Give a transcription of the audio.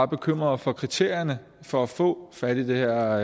bekymring for kriterierne for at få fat i det her